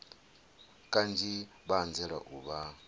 kanzhi vha anzela u vha